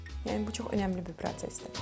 Yəni bu çox önəmli bir prosesdir.